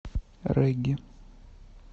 регги